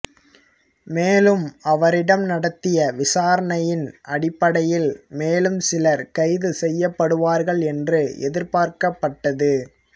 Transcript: மேலும் அவரிடம் நடத்திய விசாரணையின் அடிப்படையில் மேலும் சிலர் கைது செய்யப்படுவார்கள் என்று எதிர்பார்க்கப்பட்டது